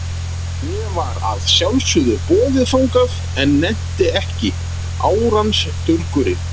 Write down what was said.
Mér var að sjálfsögðu boðið þangað, en nennti ekki, árans durgurinn.